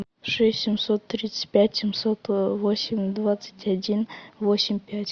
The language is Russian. шесть семьсот тридцать пять семьсот восемь двадцать один восемь пять